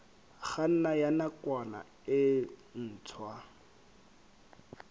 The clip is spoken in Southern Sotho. kganna ya nakwana e ntshwa